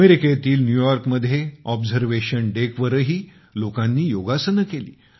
अमेरिकेतील न्यूयॉर्कमध्ये ऑबझर्वेशन डेकवर ही लोकांनी योगासने केली